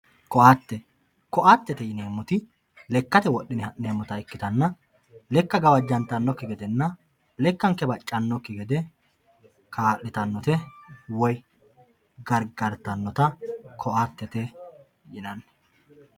ko'atte ko'attete yineemoti lekkate wodhine ha'neemota ikkitanna lekka gawajantanokki gedenna lekkanke baccanokki gede kaa'litannote woy gargarttannota ko"atete yinanni.